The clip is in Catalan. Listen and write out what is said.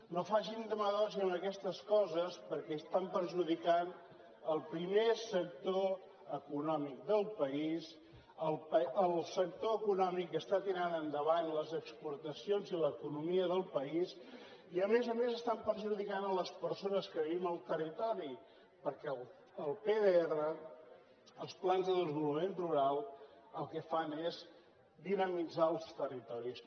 no facin demagògia amb aquestes coses perquè estan perjudicant el primer sector econòmic del país el sector econòmic que està tirant endavant les exportacions i l’economia del país i a més a més estan perjudicant les persones que vivim al territori perquè el pdr els plans de desenvolupament rural el que fan és dinamitzar els territoris